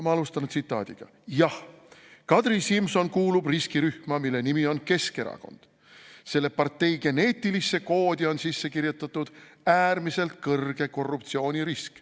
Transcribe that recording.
Ma alustan tsitaadiga: "Jah, Kadri Simson kuulub riskirühma, mille nimi on keskerakond – selle partei geneetilisse koodi on sisse kirjutatud äärmiselt kõrge korruptsioonirisk.